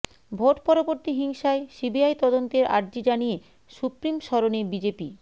vote পরবর্তী হিংসায় CBI তদন্তের আর্জি জানিয়ে সুপ্রিম শরণে বিজেপি